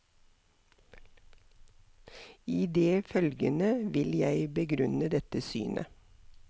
I det følgende vil jeg begrunne dette synet.